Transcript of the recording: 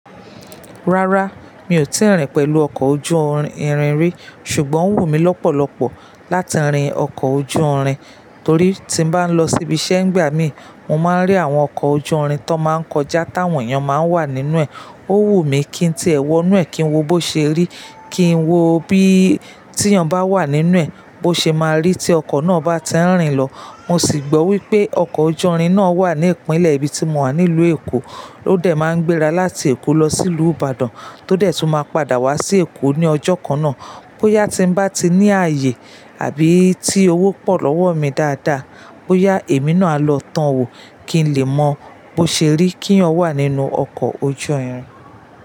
Rárá, mi ò tíì rìn pẹ̀lú ọkọ̀ ojú-irin rí, ṣùgbọ́n ó wù mí lọ́pọ̀lọpọ̀ láti rìn ọkọ̀ ojú-irin. Torí tí bá ń lọ síbi iṣẹ́ ńgbà mí, mo máa ń rí àwọn ọkọ̀ ojú-irin tó máa ń kọjá táwọn èèyàn máa ń wà nínú ẹ̀. Ó wù mí kí tí ẹ wọ inú ẹ̀ kí ń wo bó ṣe rí, kí ń wo bí tí èèyàn bá wà nínú ẹ̀, bó ṣe máa rí tí ọkọ̀ náà bá ti ń rìn lọ. Mo sì gbọ́ wípé ọkọ̀ ojú-irin náà wà ní ìpínlẹ̀ ibi tí mo wà ní ìlú Èkó, ó dẹ̀ máa ń gbéra láti Èkó lọ sí ìlú Ìbàdàn tó dé tí ó máa padà wá sí Èkó ní ọjọ́ kan náà. Bóyá tí ń bá ti ní ààyè àbí tí owó pọ̀ lọ́wọ́ mi dáadáa, bóyá èmi náà á lọ tọ òwò kí n lè mọ bó ṣe rí kí èèyàn wà nínú ọkọ̀ ojú-irin.